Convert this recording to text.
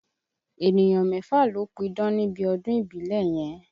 Ènìyàn mẹ́fà ló pídán níbi ọdún ìbílẹ̀ yẹn